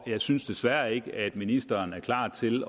jeg synes desværre ikke at ministeren er klar til